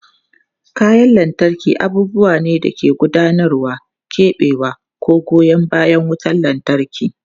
Kayan lantarki abubuwa ne da ke gudanarwa, keɓewa, ko goyan bayan wutar lantarki.